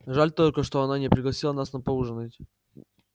жаль только что она не пригласила нас на поужинать